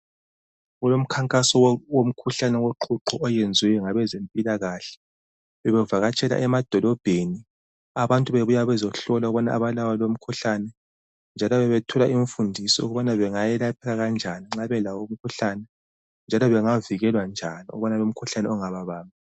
Kulomkhankaso womkhuhlane woqhuqho oyenzwe ngabezempilakahle, bebevakatshela emadolobheni abantu bebuya bezohlolwa ukubana abalawo lomkhuhlane njalo bebethola imfundiso ukubana bengayelapha kanjani nxa belawo umkhuhlane njalo bengavikelwa njani ukubana lomkhuhlane ungababambi.